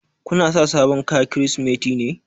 Ku na sa sabon kayan Kirsimeti ne?